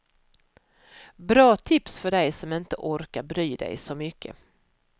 Bra tips för dig som inte orkar bry dig så mycket.